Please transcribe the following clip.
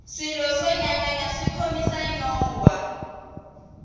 swilo swo nyanganya swi khomisa nyongwha